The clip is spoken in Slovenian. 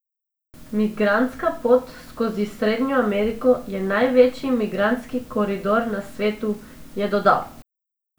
Migrantska pot skozi Srednjo Ameriko je največji migrantski koridor na svetu, je dodal.